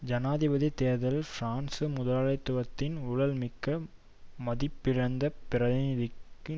ஜனாதிபதி தேர்தலில் பிரான்சு முதலாளித்துவத்தின் ஊழல்மிக்க மதிப்பிழந்த பிரதிநிதிக்கு